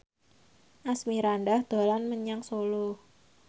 Asmirandah dolan menyang Solo